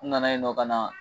U nana yen nɔ ka na